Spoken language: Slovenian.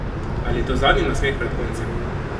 Ali je to zadnji nasmeh pred koncem?